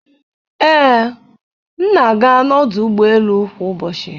Ee, m na-aga n'ọdụ ụgbọ elu kwa ụbọchị.